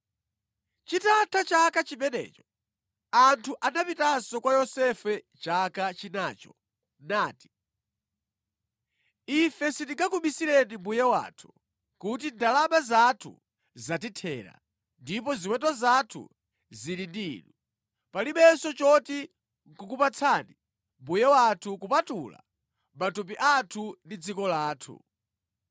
Chitatha chaka chimenecho, anthu anapitanso kwa Yosefe chaka chinacho nati, “Ife sitingakubisireni mbuye wathu kuti ndalama zathu zatithera ndipo ziweto zathu zili ndi inu, palibenso choti nʼkukupatsani mbuye wathu kupatula matupi athu ndi dziko lathu.